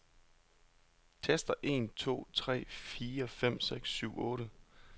Tester en to tre fire fem seks syv otte.